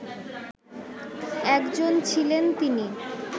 একজন ছিলেন তিনি